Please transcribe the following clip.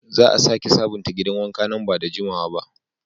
Za a sake sabunta gidan wanka nan da jimawa.